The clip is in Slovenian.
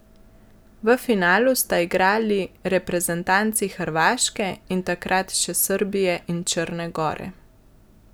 V finalu sta igrali reprezentanci Hrvaške in takrat še Srbije in Črne gore.